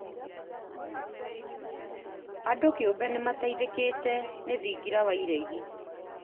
Andũ kĩũmbe nĩ mayeithĩkĩte nĩ thingira wa iregi